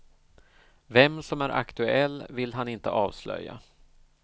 Vem som är aktuell vill han inte avslöja.